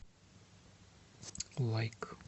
лайк